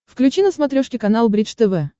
включи на смотрешке канал бридж тв